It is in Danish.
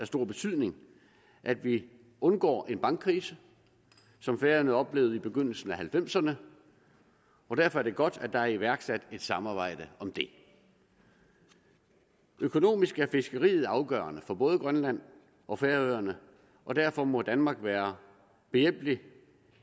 stor betydning at vi undgår en bankkrise som færøerne oplevede i begyndelsen af nitten halvfemserne og derfor er det godt at der er iværksat et samarbejde om det økonomisk er fiskeriet afgørende for både grønland og færøerne og derfor må danmark være behjælpelig